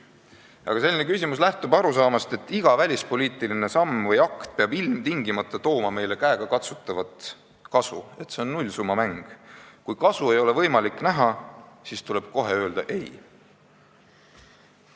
Aga selline küsimus lähtub arusaamast, et iga välispoliitiline samm või akt peab meile ilmtingimata käegakatsutavat kasu tooma, et see on nullsummamäng: kui ei ole võimalik kasu näha, siis tuleb kohe öelda ei.